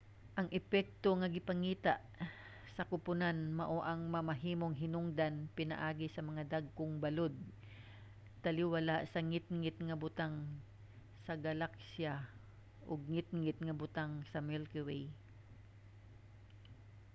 ang epekto nga gipangita sa kuponan mao ang mamahimong hinungdan pinaagi sa mga dagkong balod taliwala sa ngitngit nga butang sa galaksiya ug ngitngit nga butang sa milky way